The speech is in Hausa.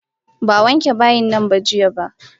Ba a wanke bayinnan jiya ba.